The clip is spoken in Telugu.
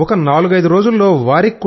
ఒక నాలుగైదు రోజుల్లో వారికి